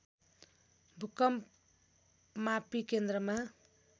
भूकम्पमापी केन्द्रमा